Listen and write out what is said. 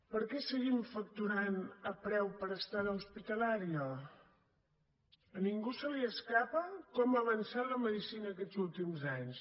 per què seguim facturant a preu per estada hospitalària a ningú se li escapa com ha avançat la medicina aquests últims anys